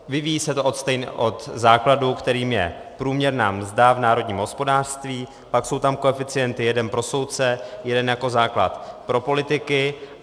Vyvíjí se to od základu, kterým je průměrná mzda v národním hospodářství, pak jsou tam koeficienty: jeden pro soudce, jeden jako základ pro politiky.